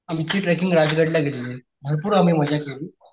आमची ट्रेकिंग राजगड ला गेलेली भरपूर आम्ही मजा केली.